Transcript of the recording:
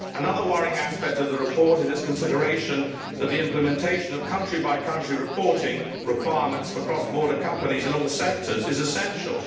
Another worrying aspect of the report is its consideration that the implementation of country by country reporting requirements for cross border companies in all sectors is essential.